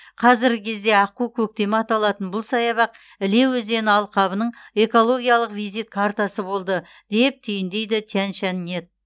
қазіргі кезде аққу көктемі аталатын бұл саябақ іле өзені алқабының экологиялық визит картасы болды деп түйіндейді тяньшаньнет